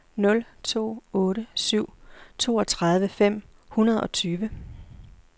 nul to otte syv toogtredive fem hundrede og tyve